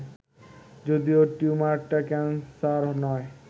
যদিও টিউমারটা ক্যানসার নয়